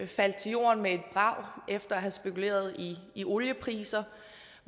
faldt til jorden med et brag efter at have spekuleret i oliepriser